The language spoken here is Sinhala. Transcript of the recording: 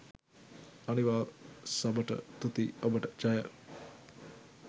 අනිවා සබට තුති ඔබට ජය